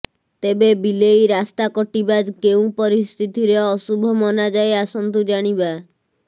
ତେବେ ବିଲେଇ ରାସ୍ତା କଟିବା କେଉଁ ପରିସ୍ଥିତିରେ ଅଶୁଭ ମନା ଯାଏ ଆସନ୍ତୁ ଜାଣିବା